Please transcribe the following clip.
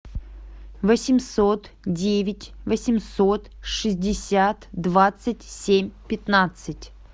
восемьсот девять восемьсот шестьдесят двадцать семь пятнадцать